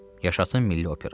Yaşasın milli opera!